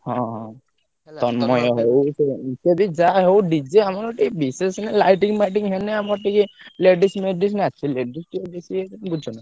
ହଁ ହଁ ଯାହା ହଉ DJ ବିଶେଷ ନାହିଁ lighting ମାଇଟିଙ୍ଗ ହେଲେ ଆମର ଟିକେ ladies ମେଡିସ ନାଚିବେ ।